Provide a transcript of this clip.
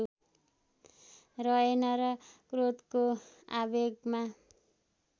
रहेन र क्रोधको आवेगमा